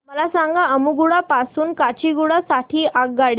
मला सांगा अम्मुगुडा पासून काचीगुडा साठी आगगाडी